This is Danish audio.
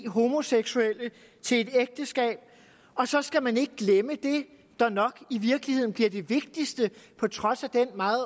homoseksuelle til ægteskab og så skal man ikke glemme det der nok i virkeligheden bliver det vigtigste på trods af den meget